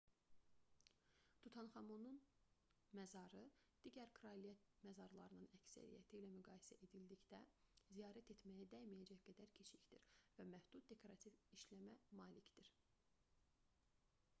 tutanxamonun məzarı digər kraliyyət məzarlarının əksəriyyəti ilə müqayisə edildikdə ziyarət etməyə dəyməyəcək qədər kiçikdir və məhdud dekorativ işləməyə malikdir